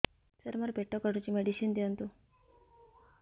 ସାର ମୋର ପେଟ କାଟୁଚି ମେଡିସିନ ଦିଆଉନ୍ତୁ